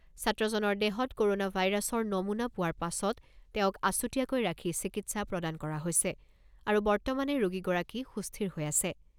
ছাত্ৰজনৰ দেহত ক'ৰোনা ভাইৰাছৰ নমুনা পোৱাৰ পাছত তেওঁক আছুতীয়াকৈ ৰাখি চিকিৎসা প্ৰদান কৰা হৈছে আৰু বৰ্তমানে ৰোগীগৰাকী সুস্থিৰ হৈ আছে।